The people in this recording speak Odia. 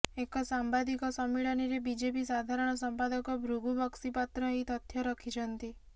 ଏକ ସାମ୍ବାଦିକ ସମ୍ମିଳନୀରେ ବିଜେପି ସାଧାରଣ ସମ୍ପାଦକ ଭୃଗୁ ବକ୍ସିପାତ୍ର ଏହି ତଥ୍ୟ ରଖିଛନ୍ତି